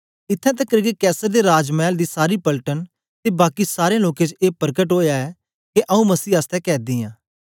इत्थैं तकर के कैसर दे राज मैल दी सारी पलटन ते बाकी सारें लोकें च ए परकट ओया ऐ के आऊँ मसीह आसतै कैदी आं